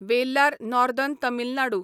Vellar northern Tamil Nadu